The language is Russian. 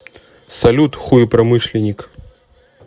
салют хуепромышленник